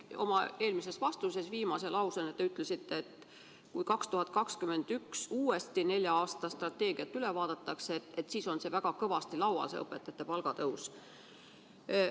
Oma eelmise vastuse viimase lausena te ütlesite, et kui 2021 uuesti nelja aasta strateegiat üle vaadatakse, siis on õpetajate palgatõusu teema väga kõvasti laual.